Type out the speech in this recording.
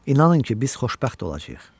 İnanın ki, biz xoşbəxt olacağıq.